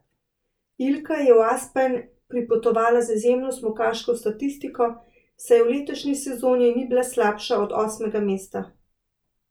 Ilka je v Aspen pripotovala z izjemno smukaško statistiko, saj v letošnji sezoni ni bila slabša od osmega mesta.